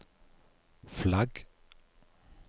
flagg